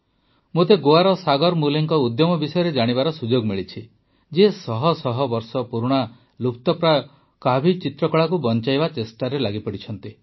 ମୋତେ ଗୋଆର ସାଗର ମୁଲେ ଜୀଙ୍କ ଉଦ୍ୟମ ବିଷୟରେ ଜାଣିବାର ସୁଯୋଗ ମିଳିଛି ଯିଏ ଶହଶହ ବର୍ଷ ପୁରୁଣା ଲୁପ୍ତପ୍ରାୟ କାଭି ଚିତ୍ରକଳାକୁ ବଂଚାଇବା ଚେଷ୍ଟାରେ ଲାଗିଛନ୍ତି